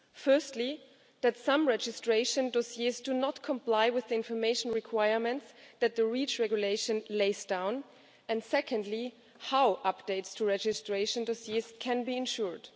firstly, that some registration dossiers do not comply with the information requirement that the REACH Regulation lays down, and, secondly, how updates to registration dossiers can be ensured.